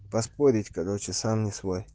поспорить короче сам не свой